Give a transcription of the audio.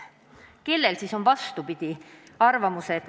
Kellel on siis vastupidine arvamus?